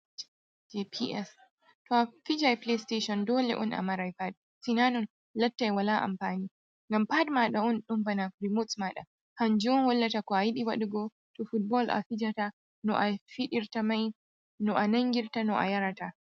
gps toa fijan plestashon dole on a marai pad sinanun lattai wala amfani ngam pad maɗa'un ɗun bana rimots maɗa, hanjum on hollata ko'ayiɗi waɗugo to fotbal a fijata no a fiɗirta mai no a nangirta, no a yarata.